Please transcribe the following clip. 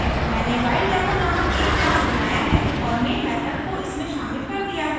मैंने whiledemo नामक एक class बनाया है और main method को इसमें शामिल कर दिया है